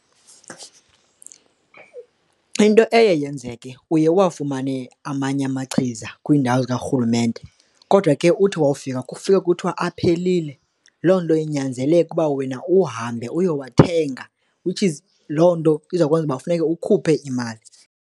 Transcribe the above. Into eye yenzeke uye uwafumane amanye amachiza kwiindawo zikarhulumente kodwa ke uthi wawufika, kufika kuthiwa aphelile. Loo nto inyanzeleke uba wena uhambe uyowathenga which is loo nto izawukwenza ukuba kufuneka ukhuphe imali.